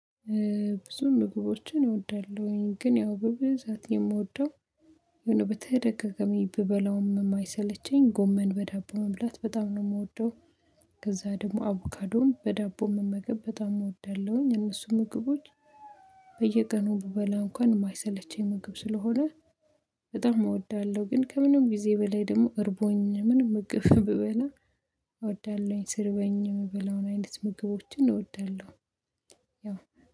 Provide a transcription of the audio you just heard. ብዙ ምግቦችን እወዳለሁኝ ግን ያው በብዛት የምወደው የሆነ በተደጋጋሚ ብበላውም የማይሰለቸኝ ጎመን በዳቦ መብላት በጣም ነው የምወደው። ከዛ ደግሞ አቮካዶን በዳቦ መመገብ በጣም እወዳለሁኝ እነሱ ምግቦች። በየቀኑ ብበላ እንኳን የማይሰለቸኝ ምግብ ስለሆነ በጣም እወዳለሁ። ግን ከምንም ጊዜ በላይ ደግሞ እርቦኝ ምን ምግብ ብበላ? እወዳለሁኝ ስር በኝ የምበላውን አይነት ምግቦችን እወዳለሁ። ያው